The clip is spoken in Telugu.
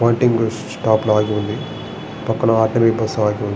పాయింటింగ్ బస్సు స్టాప్ లను ఉంది పక్కన ఆకులు బస్సు --